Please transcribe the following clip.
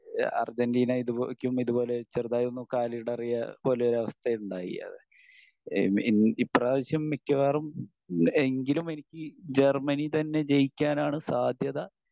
അർജെൻറ്റീനക്കും ഇതുപോലെ ചെറുതായൊന്ന് കാലിടറിയ പോലെ ഒരു അവസ്ഥ ഉണ്ടായി. ഇഹ്മ് ഇപ്രാവിശ്യം മിക്കവാറും എങ്കിലും എനിക്ക് ജർമ്മനി തന്നെ ജയിക്കാൻ ആണ്‌ സാധ്യത